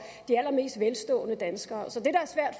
de allermest velstående danskere